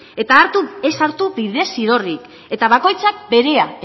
eta ez hartu bidezidorrik eta bakoitzak berea